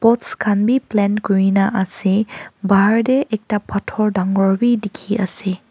pots khan bi plant kuri na ase bahar de ekta pathor dangor b dikhi ase.